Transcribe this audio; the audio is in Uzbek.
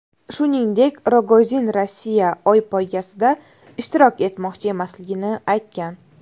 Shuningdek, Rogozin Rossiya Oy poygasida ishtirok etmoqchi emasligini aytgan.